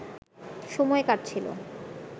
সময় কাটছিল